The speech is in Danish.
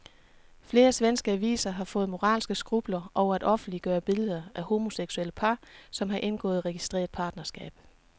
Flere svenske aviser har fået moralske skrupler over at offentliggøre billeder af homoseksuelle par, som har indgået registreret partnerskab.